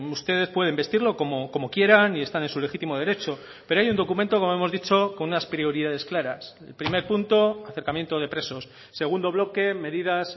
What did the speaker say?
ustedes pueden vestirlo como quieran y están en su legítimo derecho pero hay un documento como hemos dicho con unas prioridades claras el primer punto acercamiento de presos segundo bloque medidas